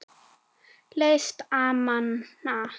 Læst amena.